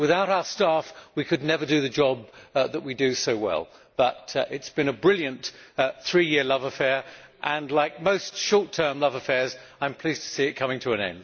Without our staff, we could never do the job that we do so well. It has been a brilliant three year love affair and, like most short term love affairs, I am pleased to see it coming to an end.